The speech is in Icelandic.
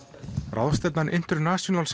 ráðstefnan International